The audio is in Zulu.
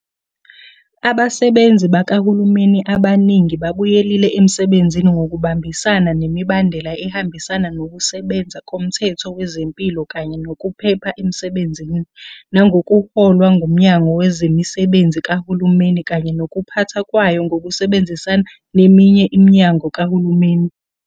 Abasebenzi bakahulumeni abaningi babuyelile emsebenzini ngokuhambisana nemibandela ehambisana Nokusebenza Komthetho Wezempilo kanye Nokuphepha Emsebenzini, nangokuholwa nguMnyango Wezemisebenzi Kahulumeni kanye Nokuphathwa Kwayo ngokusebenzisana neminye iminyango kahulumeni.